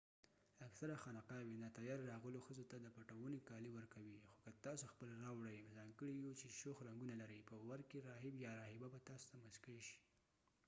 اکثره خانقاوې ناتیارې راغلو ښځو ته د پټووني کالي ورکوي خو که تاسو خپل راوړئ ځانګړی یو چې شوخ رنګونه لري په ور کې راهب یا راهبه به تاسو ته مسکۍ شي